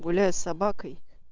гуляю с собакой